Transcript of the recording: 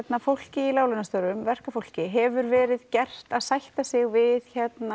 fólkið í láglaunastörfum verkafólki hefur verið gert að sætta sig við